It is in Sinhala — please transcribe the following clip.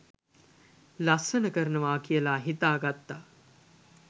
ලස්සන කරනවා කියලා හිතා ගත්තා.